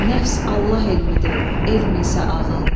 Nəfs Allah elmidir, elm isə ağıl.